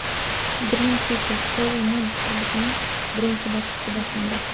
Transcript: Dream City: Seoul Mun qurilishining birinchi bosqichi boshlandi.